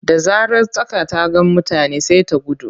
Da zarar tsaka ta ga mutane sai ta gudu.